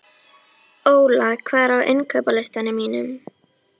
Óla, hvað er á innkaupalistanum mínum?